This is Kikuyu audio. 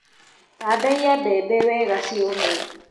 Tandaiya mbembe wega ciũme.